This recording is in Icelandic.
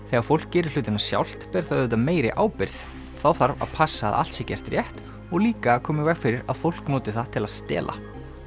þegar fólk gerir hlutina sjálft ber það auðvitað meiri ábyrgð þá þarf að passa að allt sé gert rétt og líka að koma í veg fyrir að fólk noti það til að stela